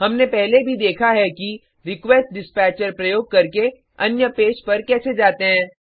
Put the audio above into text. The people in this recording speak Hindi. हमने पहले भी देखा है कि रिक्वेस्टडिस्पैचर प्रयोग करके अन्य पेज पर कैसे जाते हैं160